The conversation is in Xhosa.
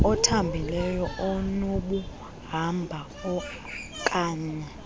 othambileyo onokuhamba oaknye